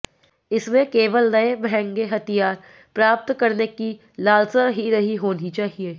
इसमें केवल नए महंगे हथियार प्राप्त करने की लालसा ही नहीं होनी चाहिए